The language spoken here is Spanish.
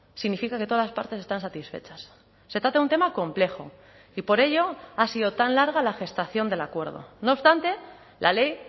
significa que todas las partes están satisfechas se trata de un tema complejo y por ello ha sido tan larga la gestación del acuerdo no obstante la ley